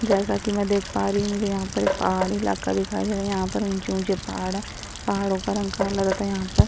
जैसा कि में देख पा रही हूँ मुझे यहाँ पर एक पहाड़ी इलाका दिखाई दे रहा है यहाँ पर ऊँचे-ऊँचे पहाड़ हैं पहाड़ो पर यहाँ पर।